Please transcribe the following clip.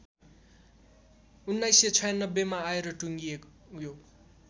१९९६ मा आएर टुङ्गियो